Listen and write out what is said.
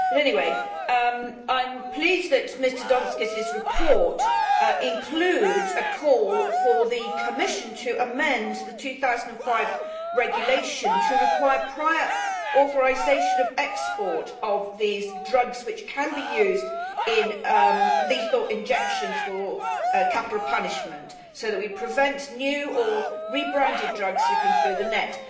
Anyway I am pleased that Mr Donskis's report includes a call for the Commission to amend the 2005 regulation to require prior authorisation of export of these drugs, which can be used in lethal injections for capital punishment, so that we prevent new or rebranded drugs slipping through the net.